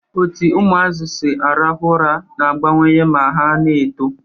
Otu ụmụazị si arahu ura n'agabnwe ma ha n'eto